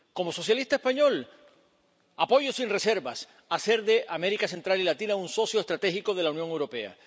Como socialista español, apoyo sin reservas a hacer de América Central y Latina un socio estratégico de la Unión Europea.